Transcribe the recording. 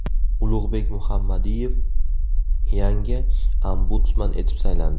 Ulug‘bek Muhammadiyev yangi ombudsman etib saylandi.